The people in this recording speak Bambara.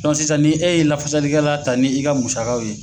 sisan ni e ye lafasali kɛla ta ni i ka musakaw ye